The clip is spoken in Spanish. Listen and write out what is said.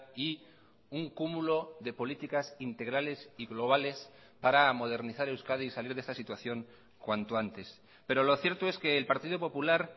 y un cúmulo de políticas integrales y globales para modernizar euskadi y salir de esta situación cuanto antes pero lo cierto es que el partido popular